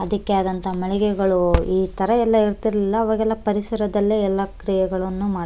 ಅದಕ್ಕೆ ಆದಂತಹ ಮಳಿಗೆಗಳು ಇತರ ಎಲ್ಲ ಇರ್ತಇರ್ಲಿಲ್ಲ ಅವಾಗೆಲ್ಲ ಪರಿಸರದಲ್ಲೇ ಎಲ್ಲ ಕ್ರಿಯೆಗಳನ್ನು ಮಾಡ --